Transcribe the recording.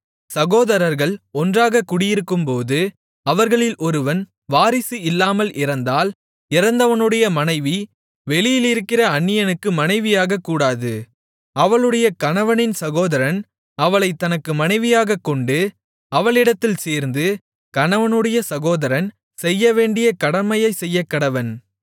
சகோதரர்கள் ஒன்றாகக் குடியிருக்கும்போது அவர்களில் ஒருவன் வாரிசு இல்லாமல் இறந்தால் இறந்தவனுடைய மனைவி வெளியிலிருக்கிற அந்நியனுக்கு மனைவியாகக்கூடாது அவளுடைய கணவனின் சகோதரன் அவளைத் தனக்கு மனைவியாகக் கொண்டு அவளிடத்தில் சேர்ந்து கணவனுடைய சகோதரன் செய்யவேண்டிய கடமையைச் செய்யக்கடவன்